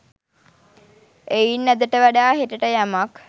එයින් අදට වඩා හෙටට යමක්